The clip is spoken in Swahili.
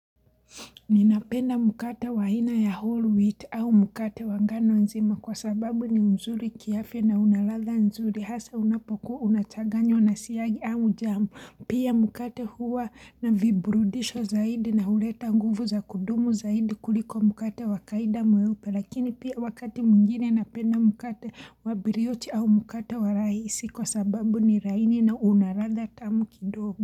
Ninapenda mkate wa aina ya whole wheat au mkate wangano nzima kwa sababu ni mzuri kiavya na unaladha nzuri hasa unapokuwa unachaganywa na siagi au jamu. Pia mkate huwa na viburudisho zaidi na huleta nguvu za kudumu zaidi kuliko mkate wakaida mweupe lakini pia wakati mwingine napenda mkate wabilioti au mkate wa rahisi kwa sababu ni raini na unaladha tamu kidogo.